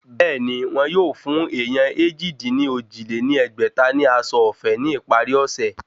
Bẹ́ẹ̀ni, wọ́n yóò fún èèyàn èjì-dín-ní-ojì lé ní ẹgbẹ́ta ní aṣọ ọ̀fẹ́ ní ìparí ọ̀sẹ̀